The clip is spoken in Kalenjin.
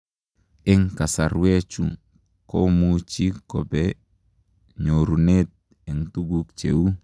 Eng kasarwechuu komuchii kopee nyorunet tuguk cheu